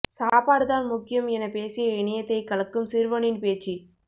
சாப்பாடு தான் முக்கியம் என பேசிய இணையத்தை கலக்கும் சிறுவனின் பேச்சு